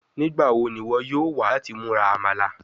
Nigbawo ni iwọ yoo wa lati mura Amala?